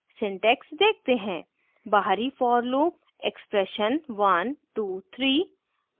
syntax देखते हैं बाहरी for loop expression 123